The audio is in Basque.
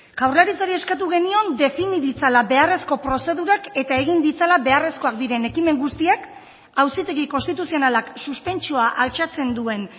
jaurlaritzari eskatu genion defini ditzala beharrezko prozedurak eta egin ditzala beharrezkoak diren ekimen guztiak auzitegi konstituzionalak suspentsioa altxatzen duen